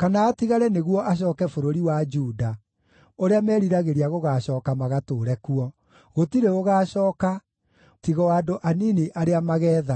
kana atigare nĩguo acooke bũrũri wa Juda, ũrĩa meriragĩria gũgaacooka magatũũre kuo; gũtirĩ ũgaacooka, tiga o andũ anini arĩa mageethara.”